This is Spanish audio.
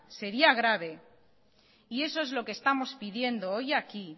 sería grave y eso es lo que estamos pidiendo hoy aquí